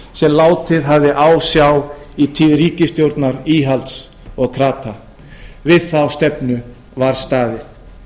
sem látið hafði á sjá í tíð ríkisstjórnar íhalds og krata við þá stefnu var staðið